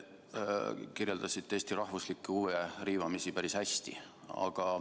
Ma usun, et te kirjeldasite Eesti rahvuslikke huve riivamisi päris hästi.